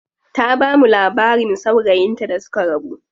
Ta bamu labarin saurayin ta da suka rabu.